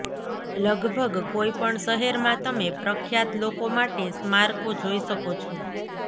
લગભગ કોઈ પણ શહેરમાં તમે પ્રખ્યાત લોકો માટે સ્મારકો જોઈ શકો છો